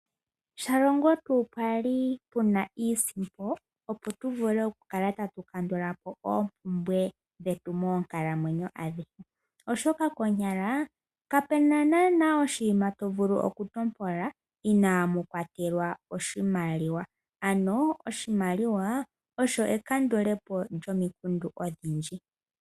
Shalongo tuu pwali puna iisimpo, opo tu vule oku kaka tatu kandulapo oompumbwe dhetu moonkalamwenyo adhike, oshoka konyala kapena oshinima to vulu okuntopola inamu kwatelwa oshimaliwa. Ano oshimaliwa osho ekandulepo lyomikundu odhindji.